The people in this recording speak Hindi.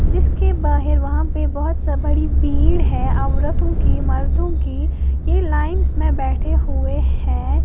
जीसके बाहर वहां पर बहोत सब बड़ी भीड़ है औरतों की मर्दों की ये लाइंस में बैठे हुए हैं।